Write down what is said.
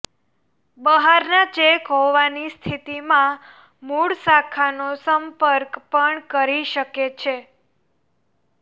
બહારના ચેક હોવાની સ્થિતિમાં મુળ શાખાનો સંપર્ક પણ કરી શકે છે